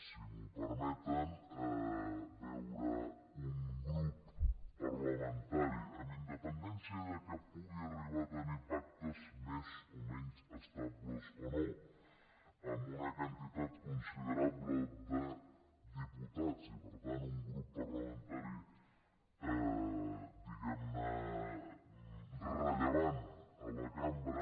si m’ho permeten veure un grup parlamentari amb independència que pugui arribar a tenir pactes més o menys estables o no amb una quantitat considerable de diputats i per tant un grup parlamentari diguem ne rellevant a la cambra